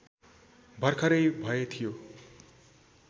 भर्खरै भए थियो